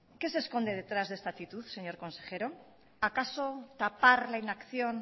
qué se esconde detrás de esta actitud señor consejero acaso tapar la inacción